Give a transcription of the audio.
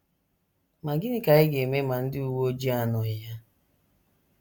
Ma gịnị ka anyị ga - eme ma ndị uwe ojii anọghị ya?